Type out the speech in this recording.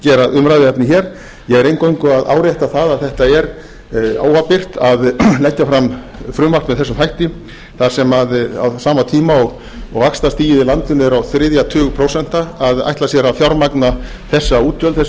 umræðuefni hér ég er eingöngu að árétta það að þetta er óábyrgt að leggja fram frumvarp með þessum hætti á sama tíma og vaxtastigið í landinu er á þriðja tug prósenta að ætla sér að fjármagna þessi útgjöld með aukinni sókn